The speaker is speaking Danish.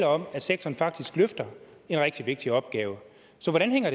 om at sektoren faktisk løfter en rigtig vigtig opgave så hvordan hænger